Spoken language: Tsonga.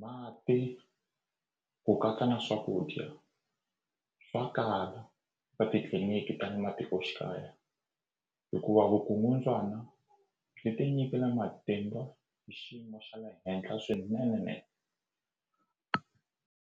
mati ku katsa na swakudya swa kala ka titliliniki ta le matikoxikaya hikuva vukungundzwana byi tinyikile matimba xiyimo xa le henhla swinene.